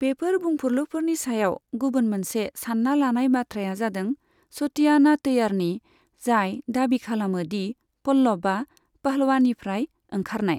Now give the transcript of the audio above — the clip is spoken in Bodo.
बेफोर बुंफुरलुफोरनि सायाव गुबुन मोनसे सान्ना लानाय बाथ्राया जादों सथिआनाथैयारनि, जाय दाबि खालामो दि पल्लबआ पहलवानिफ्राय ओंखारनाय।